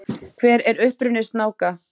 Hver er uppruni snáka?